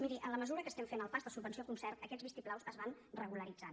miri en la mesura que estem fent el pas de subvenció a concert aquests vistiplaus es van regularitzant